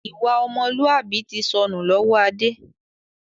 Ìwà ọmọlúwàbí tí sọnù lọ́wọ́ Adé